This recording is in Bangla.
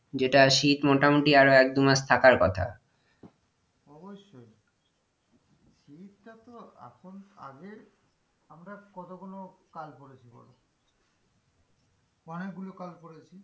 যেটা শীত মোটামোটি আরো এক-দু মাস থাকার কথা অবশ্যই শীতটা তো এখন আগে আমরা কতগুলো কাল পড়েছি বলো? অনেক গুলো কাল পড়েছি,